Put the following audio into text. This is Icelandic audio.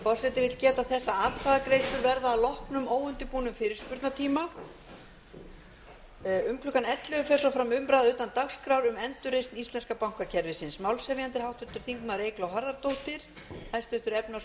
forseti vill geta þess að atkvæðagreiðslur verða að loknum óundirbúnum fyrirspurnatíma um klukkan ellefu fer svo fram umræða utan dagskrár um endurreisn íslenska bankakerfisins málshefjandi er háttvirtur þingmaður eygló harðardóttir hæstvirtur efnahags og